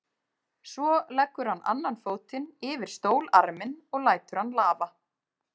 Svo leggur hann annan fótinn yfir stólarminn og lætur hann lafa.